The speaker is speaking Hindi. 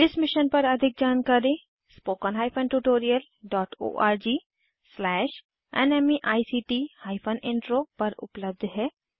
इस मिशन पर अधिक जानकारी httpspoken tutorialorgNMEICT Intro पर उपलब्ध है